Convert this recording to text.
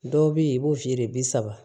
Dɔw be yen i b'o feere bi saba